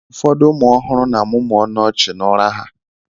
Ụfọdụ ụmụ ọhụrụ na-amụmụ ọnụ ọchị n'ụra ha.